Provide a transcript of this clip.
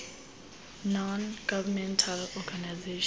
non governmental organizations